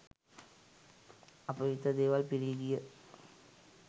අපවිත්‍ර දේවල් පිරී ගිය